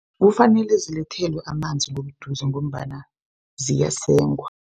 Kufanele zilethelwe amanzi ngobuduze ngombana ziyasengwa.